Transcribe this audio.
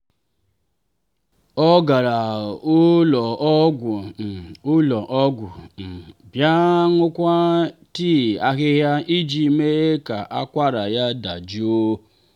ọ gara ụlọ ọgwụ um ụlọ ọgwụ um bịa ṅụọkwa tii ahịhịa iji mee ka akwara ya dajụọ.